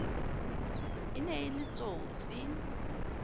e ne e le tsotsi